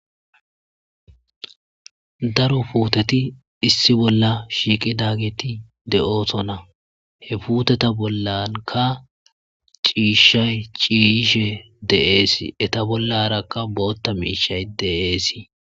daro puuteti issi bolla shiiqi dageti de7oosona he puuteta bollanka ciishshay ciishe deeesi eta bollarakka bootta miishay deeesii